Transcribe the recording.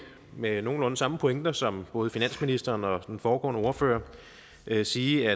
med nogenlunde samme pointer som både finansministeren og den foregående ordfører sige